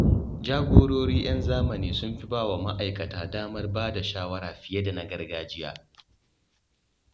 Jagorori 'yan zamani sun fi ba wa ma’aikata damar bada shawara fiye da na gargajiya.